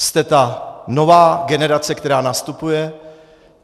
Jste ta nová generace, která nastupuje.